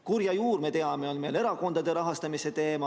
Kurja juur, me teame, on erakondade rahastamise teema.